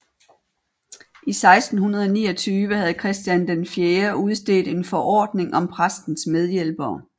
I 1629 havde Christian IV udstedt en forordning om præstens medhjælpere